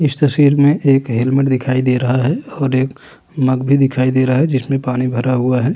इस तस्वीर में एक हेलमेट दिखाई दे रहा है और एक मग भी दिखाई दे रहा है जिसमे पानी भरा हुआ है।